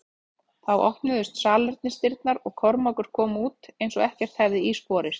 Þá opnuðust salernisdyrnar og Kormákur kom út eins og ekkert hefði í skorist.